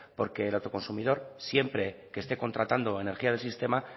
porque el autoconsumidor siempre que esté contratando energía de sistema